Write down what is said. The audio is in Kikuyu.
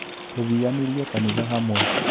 Tũthianirie kanitha hamwe